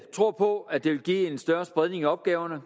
tror på at det vil give en større spredning i opgaverne